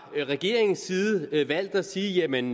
regeringens side valgt at sige jamen